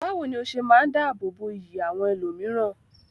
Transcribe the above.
Bawo ni o se maa n dáàbò bo iyì àwọn ẹlòmíràn?